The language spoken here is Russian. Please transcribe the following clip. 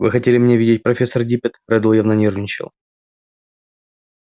вы хотели меня видеть профессор диппет реддл явно нервничал